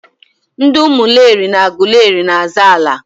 ndị Umuleri na Agụleri na-azọ ala.